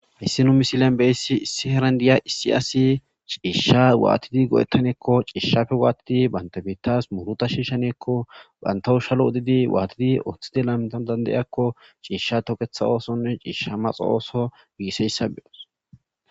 Hayssi nu missilezan beiyaysi issi asi issi heeran cishsha wattidi goe'etanako cishshappe wattidi bantta heeras muuruta shishshaneko banttawo shallo oddidi wattidi ooththidi lamettane giyyako cishsha tookeththa ossone coshsha maxxo oso bessiyaysa..